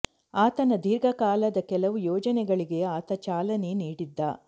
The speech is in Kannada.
ಆತನ ದೀರ್ಘ ಕಾಲದ ಕೆಲವು ಯೋಜನೆಗಳಿಗೆ ಆತ ಚಾಲನೆ ನೀಡಿದ್ದ